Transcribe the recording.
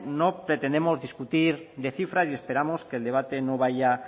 no pretendemos discutir de cifras y esperamos que el debate no vaya